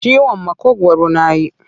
Ciwon maƙogwaru na yi.